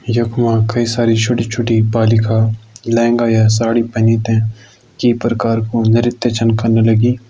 यख मा कई सारी छोटी छोटी बालिका लहंगा या साड़ी पहनी ते की परकार को नृत्य छन कन लगीं।